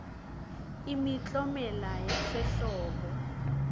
imiklomelo yasehlobo